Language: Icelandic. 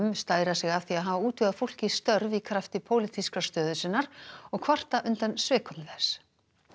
stæra sig af því að hafa útvegað fólki störf í krafti pólitískrar stöðu sinnar og kvarta undan svikum þess